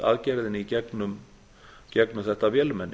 aðgerðinni í gegnum þetta vélmenni